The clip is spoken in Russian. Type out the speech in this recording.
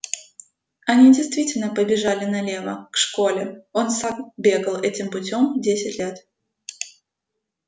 они действительно побежали налево к школе он сам бегал этим путём десять лет